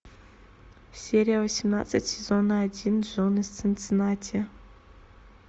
серия восемнадцать сезона один джон из цинциннати